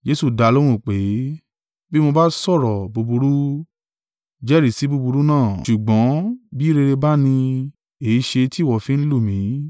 Jesu dá a lóhùn pé, “Bí mo bá sọ̀rọ̀ búburú, jẹ́rìí sí búburú náà, ṣùgbọ́n bí rere bá ni, èéṣe tí ìwọ fi ń lù mí?”